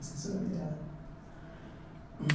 Esqueci o nome dela hum.